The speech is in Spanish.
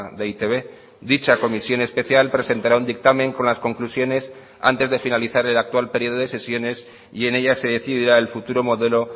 de e i te be dicha comisión especial presentará un dictamen con las conclusiones antes de finalizar el actual periodo de sesiones y en ellas se decidirá el futuro modelo